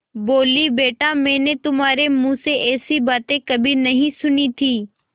बोलीबेटा मैंने तुम्हारे मुँह से ऐसी बातें कभी नहीं सुनी थीं